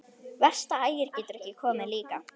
Verst að Ægir getur ekki komið líka.